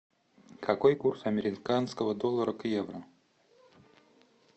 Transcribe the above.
какой курс американского доллара к евро